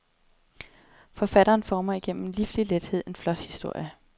Forfatteren former igennem lifligt lethed en flot historie.